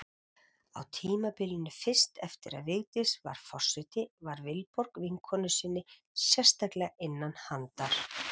Á tímabilinu fyrst eftir að Vigdís varð forseti var Vilborg vinkonu sinni sérstaklega innan handar.